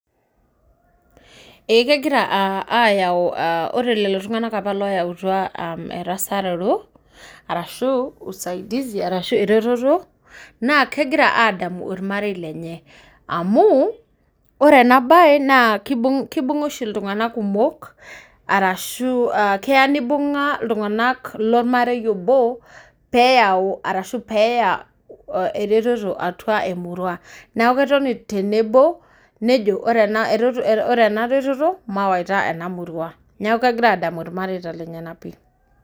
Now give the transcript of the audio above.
Ee kegira aa aayau aa ore lelo tung'anak apa loyautua aa erasaroto arashu usaidizi, arashu eretoto naa kegira aadamu ilrmarei lenye amu ore ena baye naa kibung' kibung'a oshi iltung'anak kumok arashu aa keya nibung'a iltung'anak lormarei obo peeyau arashu peeya eretoto atua emurua. Neeku etoni tenebo nejo ore ena erot reto retoto mayaita ena murua, neeku kegira aadamu irmareita lenyenak pii.